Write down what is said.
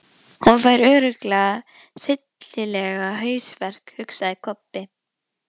Hún fær örugglega hryllilegan hausverk, hugsaði Kobbi.